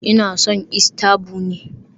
Ina son Easter bunny